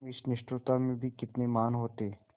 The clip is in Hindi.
तुम इस निष्ठुरता में भी कितने महान् होते